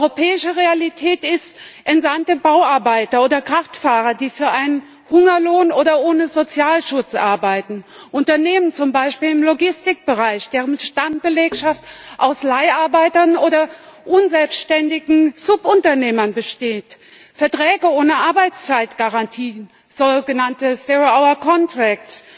Europäische Realität ist Entsandte Bauarbeiter oder Kraftfahrer, die für einen Hungerlohn oder ohne Sozialschutz arbeiten, Unternehmen, zum Beispiel im Logistikbereich, deren Stammbelegschaft aus Leiharbeitern oder unselbständigen Subunternehmern besteht, Verträge ohne Arbeitszeitgarantien, so genannte zero hour contracts